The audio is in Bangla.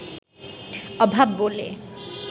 অভাব বলে